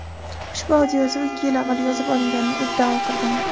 ushbu audioyozuv ikki yil avval yozib olinganini iddao qilgandi.